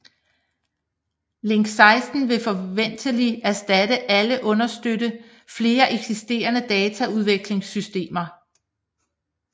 Link 16 vil forventeligt erstatte eller understøtte flere eksisterende dataudvekslingssystemer